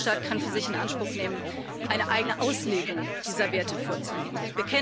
Kein Mitgliedstaat kann für sich in Anspruch nehmen, eine eigene Auslegung dieser Werte vorzunehmen.